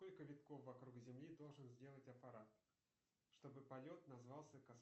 сколько витков вокруг земли должен сделать аппарат чтобы полет назвался